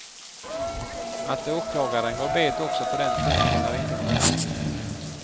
Att åklagaren gått bet också på den punkten är inte konstigt.